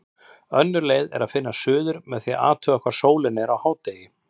Önnur leið er að finna suður með því að athuga hvar sólin er á hádegi.